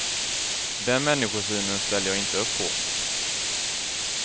Den människosynen ställer jag inte upp på.